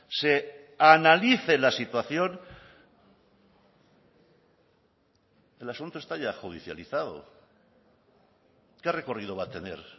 se analice la situación el asunto está ya judicializado qué recorrido va a tener